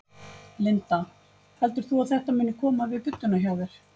Linda: Heldur þú að þetta muni koma við budduna hjá þér?